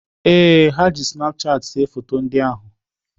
Ee, ha ji snapchat see foto ndị ahụ